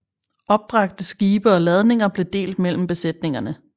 Opbragte skibe og ladninger blev delt mellem besætningerne